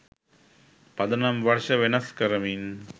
පදනම් වර්ෂ වෙනස් කරමින්